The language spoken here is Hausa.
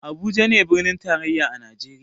Habuja ne birnin tarayya a najeriya